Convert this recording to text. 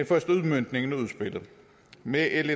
første udmøntning af udspillet med l